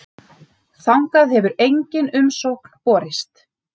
Þangað hefur engin umsókn borist.